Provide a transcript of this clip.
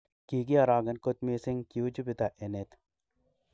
Kigiorogen kot missing kiu jupiter enet.